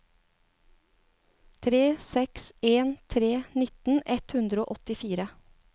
tre seks en tre nitten ett hundre og åttifire